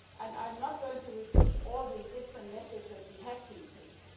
I am not going to repeat all the different measures that we have been taking.